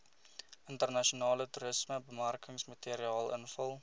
internasionale toerismebemarkingsmateriaal invul